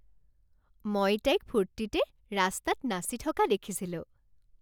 মই তাইক ফূৰ্তিতে ৰাস্তাত নাচি থকা দেখিছিলোঁ